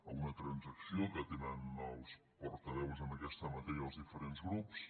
a una transacció que tenen els portaveus en aquesta matèria dels diferents grups